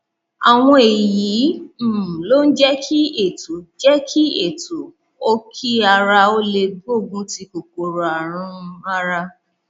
àwọn èyí um ló ń jẹ kí ètò jẹ kí ètò òkí ara ó lè gbógun ti kòkòrò ààrùn um ara